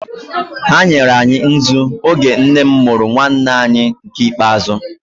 Ha nyere anyị nzu oge nne m mụrụ nwanne anyị nke ikpeazụ.